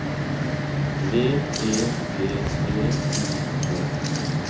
V E D T O K